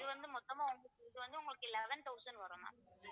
இது வந்து மொத்தமா வந்து இது வந்து உங்களுக்கு eleven thousand வரும் ma'am